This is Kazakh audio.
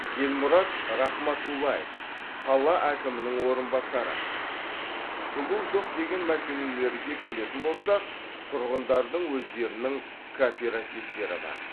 елмұрат рахматуллаев қала әкімінің орынбасары жылу жоқ деген мәселелерге келетін болсақ тұрғындардың өздерінің кооперативтері бар